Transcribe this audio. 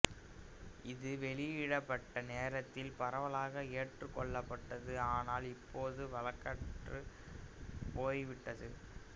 இது வெளியிடப்பட்ட நேரத்தில் பரவலாக ஏற்றுக்கொள்ளப்பட்டது ஆனால் இப்போது வழக்கற்றுப் போய்விட்டது